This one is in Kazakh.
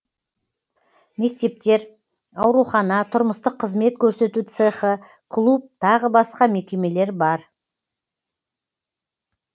мектептер аурухана тұрмыстық қызмет көрсету цехы клуб тағы басқа мекемелер бар